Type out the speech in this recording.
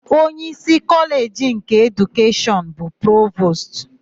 Onyeísí Kọleji nke Edukeshọn bụ Provostu.